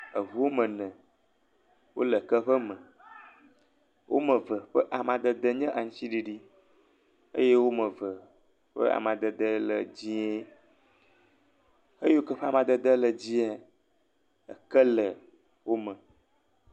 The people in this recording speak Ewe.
Eŋuwo me ne wo le ke ƒe me. Wo ame eve nye amadede aŋuti ɖiɖi eye wo me eve ƒe amadede le dzɛe. Eyi woke wo ƒe amadede le dzɛa eke le wo me.